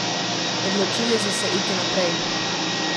Odločili so se iti naprej.